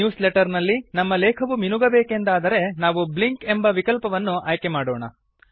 news letter ನಲ್ಲಿ ನಮ್ಮ ಲೇಖವು ಮಿನುಗಬೇಕೆಂದಾದರೆ ನಾವು ಬ್ಲಿಂಕ್ ಎಂಬ ವಿಕಲ್ಪವನ್ನು ಆಯ್ಕೆ ಮಾಡೋಣ